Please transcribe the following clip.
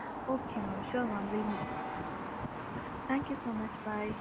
Okay mam sure mam thank you so much bye